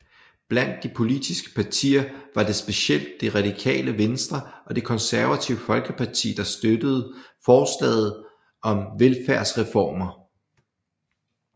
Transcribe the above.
Blandt de politiske partier var det specielt Det Radikale Venstre og Det Konservative Folkeparti der støttede forslaget om velfærdsreformer